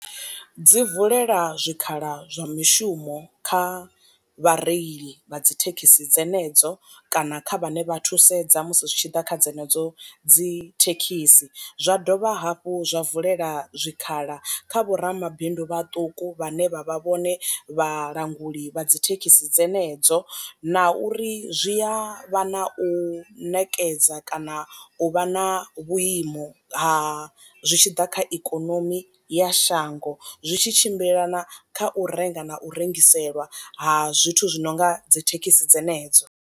Dzi vulela zwi khala zwa mishumo kha vhareili vha dzi thekhisi dzenedzo kana kha vhane vha thusedza musi zwi tshi ḓa kha dzenedzo dzi thekhisi, zwa dovha hafhu zwa vulela zwikhala kha vho ramabindu vhaṱuku vhane vha vha vhone vhalanguli vha dzi thekhisi dzenedzo na uri zwi a vha na u nekedza kana u vha na vhuimo ha zwi tshi ḓa kha ikonomi ya shango zwi tshi tshimbilelana kha u renga na u rengiselwa ha zwithu zwi nonga dzi thekhisi dzenedzo.